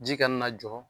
Ji kana na jɔ